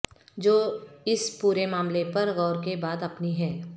جو اس پورے معاملے پر غور کے بعد اپنی ہے